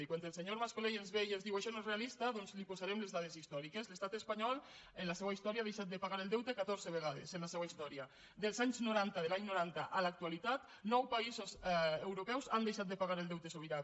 i quan el senyor mas colell ens ve i ens diu això no és realista doncs li posarem les dades històriques l’estat espanyol en la seua història ha deixat de pagar el deute catorze vegades en la seua història dels anys noranta de l’any noranta a l’actualitat nou països europeus han deixat de pagar el deute sobirà